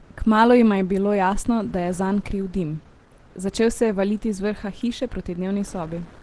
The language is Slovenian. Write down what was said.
Kmalu jima je bilo jasno, da je zanj kriv dim: "Začel se je valiti z vrha hiše proti dnevni sobi.